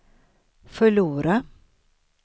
förlora